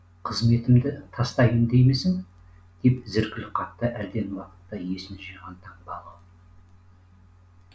қызметімді тастаймын деймісің деп зіркіл қақты әлден уақытта есін жиған таңбалы